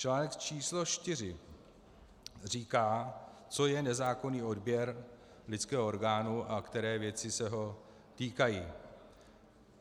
Článek číslo čtyři říká, co je nezákonný odběr lidského orgánu a které věci se ho týkají.